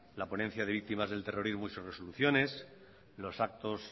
la ponencia de víctimas del terrorismo y sus resoluciones los actos